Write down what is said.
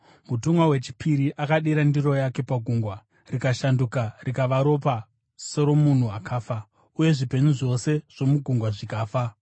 Mutumwa wechipiri akadurura ndiro yake pagungwa, rikashanduka rikava ropa seromunhu akafa, uye zvipenyu zvose zvomugungwa zvikafa.